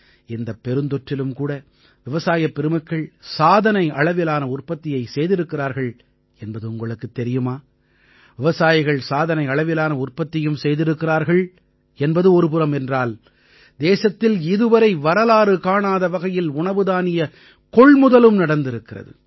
இந்தப் பெருந்தொற்றிலும் கூட விவசாயப் பெருமக்கள் சாதனை அளவிலான உற்பத்தியை செய்திருக்கிறார்கள் என்பது உங்களுக்குத் தெரியுமா விவசாயிகள் சாதனை அளவிலான உற்பத்தியும் செய்திருக்கிறார்கள் என்பது ஒருபுறம் என்றால் தேசத்தில் இதுவரை வரலாறு காணாத வகையில் உணவுதானியக் கொள்முதலும் நடந்திருக்கிறது